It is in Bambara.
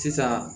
Sisan